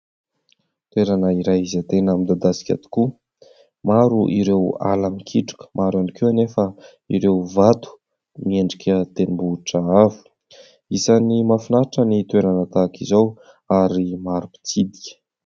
Toerana iray izay tena midadasika tokoa. Maro ireo ala mikitroka, maro ihany koa anefa ireo vato miendrika tendrombohitra avo. Isan'ny mahafinaritra ny toerana tahaka izao ary maro mpitsidika.